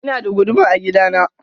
Ina da guduma a gida na.